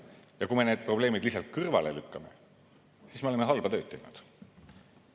Ja kui me need probleemid lihtsalt kõrvale lükkame, siis me oleme halba tööd teinud.